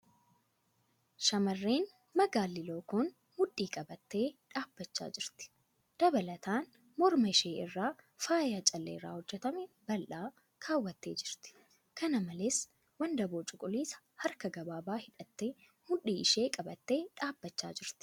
Shamarreen magaalli lookoon mudhii qabattee dhaabbachaa jirti. Dabalataan, mirma ishee irraa faaya callee irraa hojjatame bal'aa kaawwattee jirti. Kana malees, wandaboo cuquliisa harka gabaabaa hidhattee mudhii ishee qabattee dhaabbachaa jirti.